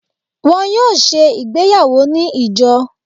wọn yóò se ìgbéyàwó ni ijo.